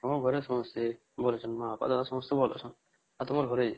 ହଁ ଘରେ ସମସ୍ତେଘରେ ସବ ବାପା ମା ସମସ୍ତେ ଭଲ ଅଛନ ଆଉ ତୁମ ଘରେ?